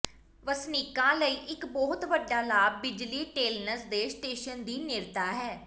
ਵਸਨੀਕਾਂ ਲਈ ਇਕ ਬਹੁਤ ਵੱਡਾ ਲਾਭ ਬਿਜਲੀ ਟੇਲਨਸ ਦੇ ਸਟੇਸ਼ਨ ਦੀ ਨੇੜਤਾ ਹੈ